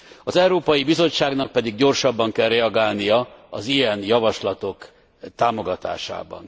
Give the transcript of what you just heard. Az Európai Bizottságnak pedig gyorsabban kell reagálnia az ilyen javaslatok támogatásában.